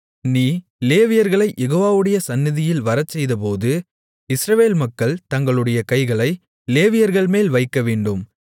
நீ லேவியர்களைக் யெகோவாவுடைய சந்நிதியில் வரச்செய்தபோது இஸ்ரவேல் மக்கள் தங்களுடைய கைகளை லேவியர்கள்மேல் வைக்கவேண்டும்